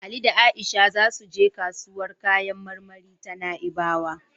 Ali da Isa za su je kasuwar kayan marmari ta Na'ibawa.